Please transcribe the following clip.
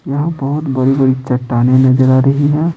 यहाँ बहुत बड़ी-बड़ी चट्टाने नजर आ रही है।